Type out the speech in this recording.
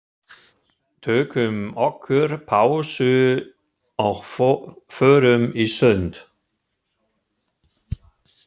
Tökum okkur pásu og förum í sund.